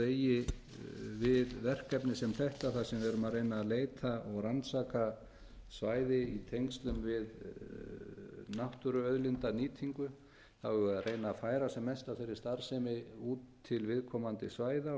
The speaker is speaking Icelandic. eigi við verkefni sem þetta þar sem við erum að reyna að leita og rannsaka svæði í tengslum við náttúruauðlindanýtingu þá eigum við að reyna að færa sem mest af þeirri starfsemi út til viðkomandi svæða